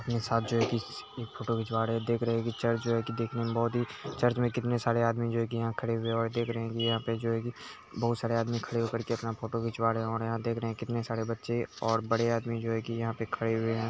Photo खिंचवा रहे हैं। देख रहे हैं की चर्च जो है कि देखने में बोहोत ही चर्च में कितने सारे आदमी जो है कि यहां खड़े हुए हैं और देख रहे हैं कि यहाँ पे जो हैं कि बहुत सारे आदमी खड़े होकर अपना फोटो खिंचवा रहे हैं। यहाँ देख रहे हैं कितने सारे बच्चे और बड़े आदमी जो है कि यहाँ पे खड़े हुए हैं।